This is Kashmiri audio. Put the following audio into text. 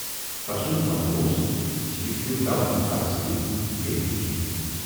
تَسُند ونُن اوس زِ یہِ چھِ توہَم پرستی بییہِ نہٕ کینہہ۔